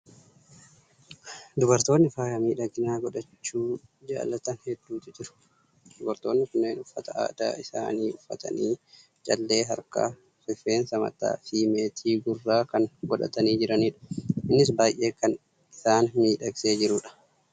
Dubartoonni faaya miidhaginaa godhachuu jaalatan hedduutu jiru. Dubartoonni kunneen uffata aadaa isaanii uffatanii, callee harkaa, rifeensa mataa fi meetii gurraa kan godhatanii jiranidha. Innis baay'ee kan isaan miidhagsee jiru dha.